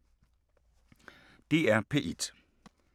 DR P1